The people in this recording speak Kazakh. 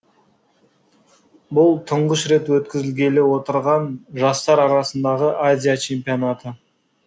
бұл тұңғыш рет өткізілгелі отырған жастар арасындағы азия чемпионаты